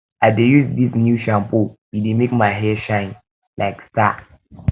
i dey use dis new shampoo e dey make my hair shine um like star